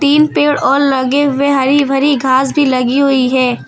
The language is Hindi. तीन पेड़ और लगे हुए हरी भरी घास भी लगी हुई है।